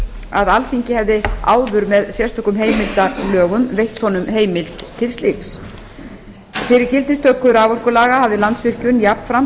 að alþingi hefði áður með sérstökum heimildarlögum veitt honum heimild til slíks fyrir gildistöku raforkulaga hafði landsvirkjun jafnframt